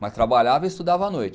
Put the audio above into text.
Mas trabalhava e estudava à noite.